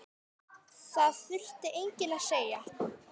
Það þurfti enginn að segja